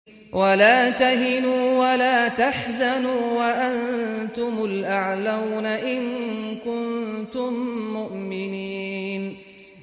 وَلَا تَهِنُوا وَلَا تَحْزَنُوا وَأَنتُمُ الْأَعْلَوْنَ إِن كُنتُم مُّؤْمِنِينَ